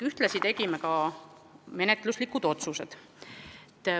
Ühtlasi tegime ka menetluslikud otsused.